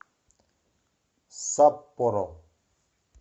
саппоро